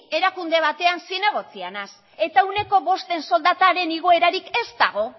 erakunde batean zinegotzia naiz eta ehuneko bosten soldataren igoerarik ez dago